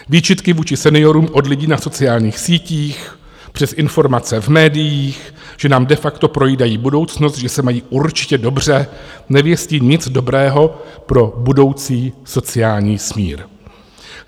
Výčitky vůči seniorům od lidí na sociálních sítích, přes informace v médiích, že nám de facto projídají budoucnost, že se mají určitě dobře, nevěstí nic dobrého pro budoucí sociální smír.